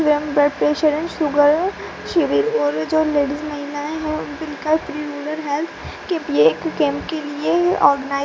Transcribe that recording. blood pressure and sugar civil और जो ladies महिलाएं है --